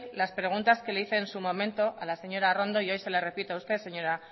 las preguntas que le hice en su momento a la señora arrondo y hoy se las repito a usted señora